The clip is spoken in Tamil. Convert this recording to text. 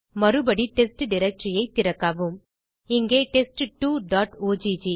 மறுபடி டெஸ்ட் டைரக்டரி திறக்கவும்இங்கே test2ஒக்